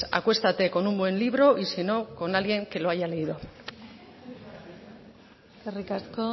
acuestate con un buen libro y si no con alguien que lo haya leído eskerrik asko